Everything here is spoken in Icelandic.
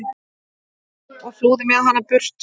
og flúði með hana burt.